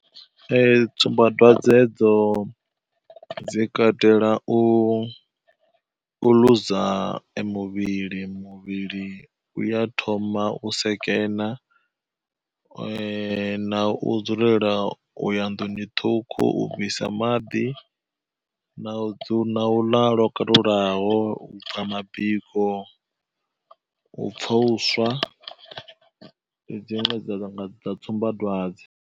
Ee tsumbadwadze hedzo dzi katela u ḽuza muvhili, muvhili uya thoma u sekena na u dzulela u ya nḓuni ṱhukhu u bvisa maḓi na na u ḽa lokalulaho, mabiko, u pfha uswa ndi dziṅwe dza nga tsumbadwadze.